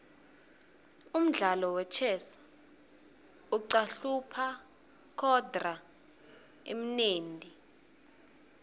umdlalo wechess uqahlupha kodruh umnendti